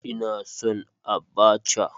Ina son Abacha